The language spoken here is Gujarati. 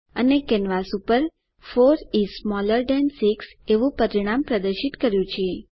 અને કેનવાસ પર 4 ઇસ સ્મોલર થાન 6 એવું પરિણામ પ્રદર્શિત કર્યું છે